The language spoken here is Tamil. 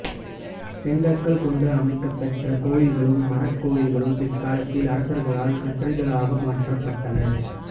செங்கற்கள் கொண்டு அமைக்கப் பெற்ற கோயில்களும் மரக் கோயில்களும் பிற்காலத்தில் அரசர்களால் கற்றளிகளாக மாற்றப்பட்டன